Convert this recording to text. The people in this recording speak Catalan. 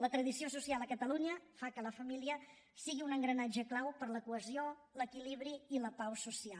la tradició social a catalunya fa que la família sigui un engranatge clau per a la cohesió l’equilibri i la pau social